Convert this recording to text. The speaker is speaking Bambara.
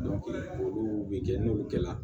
olu bɛ kɛ n'olu kɛla